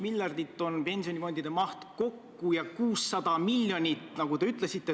Ma ei tea, võib-olla tõesti peame pidama debatte, kuidas kujundada seinasid ja kuidas mitte kujundada seinasid.